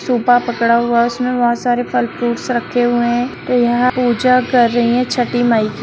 सूपा पकड़ा हुआ है उसमे बहुत सारे फल फ्रूटस रखे हुए है और यहाँ पूजा कर रही है छठी माई की।